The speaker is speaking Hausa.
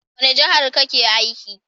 Wani jahar ka ke aiki?